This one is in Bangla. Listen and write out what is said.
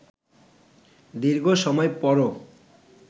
দীর্ঘ সময় পরও